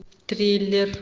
триллер